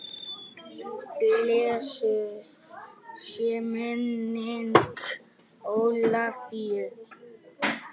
Blessuð sé minning Ólafíu.